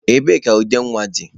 Ebee ka ude nwa dị?